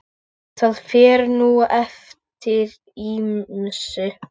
Það fer nú eftir ýmsu.